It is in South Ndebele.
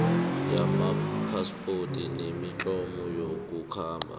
wamaphaspoti nemitlolo yokukhamba